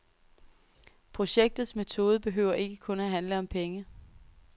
Projektets metode behøver ikke kun at handle om penge.